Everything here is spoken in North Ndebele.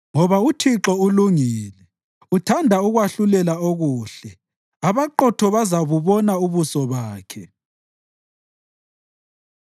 Ngoba uThixo ulungile, uthanda ukwahlulela okuhle; abaqotho bazabubona ubuso bakhe.